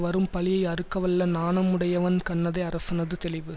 வரும் பழியை அறுக்கவல்ல நாணமுடையவன் கண்ணதே அரசனது தெளிவு